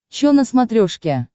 чо на смотрешке